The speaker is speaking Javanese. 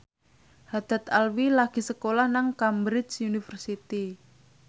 Haddad Alwi lagi sekolah nang Cambridge University